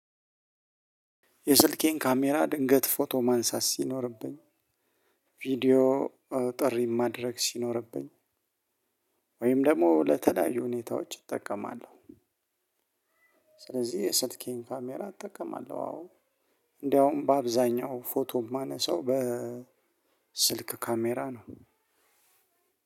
የስልኬን ካሜራ ድንገት ፎቶ ማንሳት ሲኖርብኝ ቪዲዮ ጥሪ ማድረግ ሲኖርብኝ፤ ወይም ደግሞ ለተለያዩ ሁኔታዎች እጠቀማለሁ። ስለዚህ የሰልኬን ካሜራ እጠቀማለሁ። አዎ! እንደውም በአብዛኛው ፎቶ የማነሳው በስልክ ካሜራ ነው።